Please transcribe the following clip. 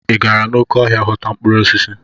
Ị gara n'oké ọhịa ghọta mkpụrụ osisi?